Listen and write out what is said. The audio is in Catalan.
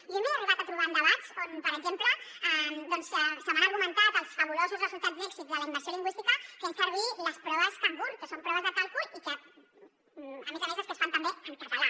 jo m’he arribat a trobar en debats on per exemple se m’han argumentat els fabulosos resultats d’èxit de la immersió lingüística fent servir les proves cangur que són proves de càlcul i que a més a més es fan també en català